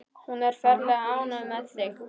Hún er ferlega ánægð með þig.